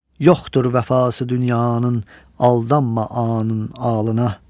Yoxdur vəfası dünyanın aldanma anın ağlına.